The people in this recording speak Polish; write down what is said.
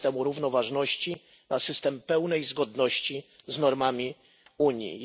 systemu równoważności na system pełnej zgodności z normami Unii.